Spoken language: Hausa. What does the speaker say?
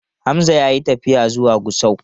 Hamza ya yi tafiya zuwa Gusau.